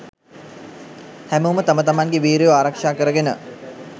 හැමෝම තම තමන්ගෙ වීරයො ආරක්‍ෂා කරගෙන